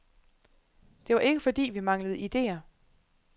Det var ikke fordi, vi manglede idéer.